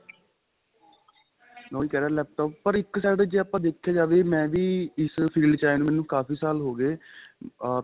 ਉਹੀ ਕਹਿ ਰਿਹਾ laptop ਪਰ ਇੱਕ side ਤੇ ਆਪਾਂ ਦੇਖਿਆ ਜਾਵੇ ਮੈਂ ਵੀ ਇਸ field ਚ ਆਏ ਨੂੰ ਮੈਨੂੰ ਕਾਫੀ ਸਾਲ ਹੋ ਗਏ ਆ